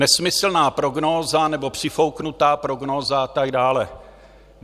Nesmyslná prognóza, nebo přifouknutá prognóza a tak dále.